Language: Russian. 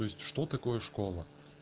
то есть что такое школа